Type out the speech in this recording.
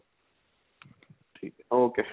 ਠੀਕ ਏ okay